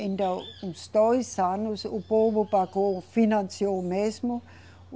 Então, uns dois anos, o povo pagou, financiou mesmo.